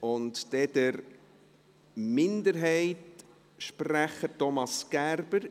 Dann der Minderheitssprecher, Thomas Gerber.